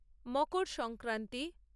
Makar Sankranti